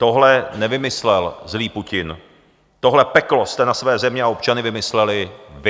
Tohle nevymyslel zlý Putin, tohle peklo jste ve své zemi a občany vymysleli vy.